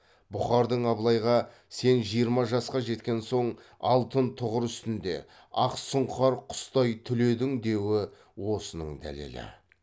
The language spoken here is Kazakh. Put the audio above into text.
бұқардың абылайға сен жиырма жасқа жеткен соң алтын тұғыр үстінде ақ сұңқар құстай түледің деуі осының дәлелі